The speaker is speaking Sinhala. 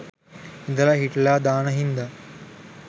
ඉදලා හිටලා දාන හින්දා